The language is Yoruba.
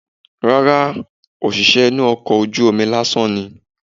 Rárá, òṣìṣẹ́ inú ọkọ̀ ojú omi lásán ni.